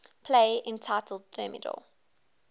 play entitled thermidor